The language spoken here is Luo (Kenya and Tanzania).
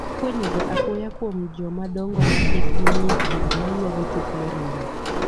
ifwenye ga apoya kuom joma dongo ma hikgi ni e diere ma ywago tok ma remo